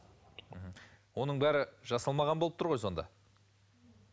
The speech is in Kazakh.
мхм оның бәрі жасалмаған болып тұр ғой сонда